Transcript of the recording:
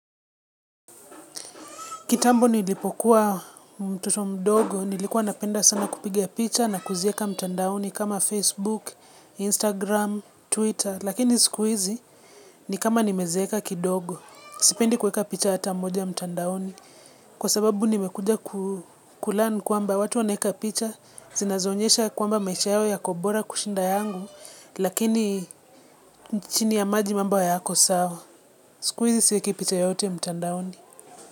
Kitambo nilipokuwa mtoto mdogo, nilikuwa napenda sana kupiga picha na kuzieka mtandaoni kama Facebook, Instagram, Twitter. Lakini siku hizi ni kama nimezeka kidogo, sipendi kuweka picha hata mmoja mtandaoni. Kwa sababu nimekuja ku learn kwamba watu wanaweka picha, zinazonyesha kwamba maisha yao ya kobora kushinda yangu, lakini nchini ya maji mambo hayako sawa. Siku hizi siweki picha yoyote mtandaoni.